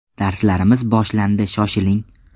Darslarimiz boshlandi shoshiling!